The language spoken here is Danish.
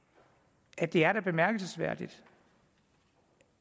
at det da er bemærkelsesværdigt